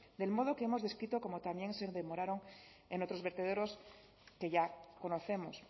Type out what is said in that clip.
del modo que hemos descrito como también se demoraron en otros vertederos que ya conocemos